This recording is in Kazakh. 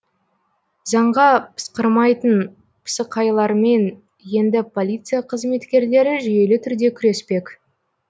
заңға пысқырмайтын пысықайлармен енді полиция қызметкерлері жүйелі түрде күреспек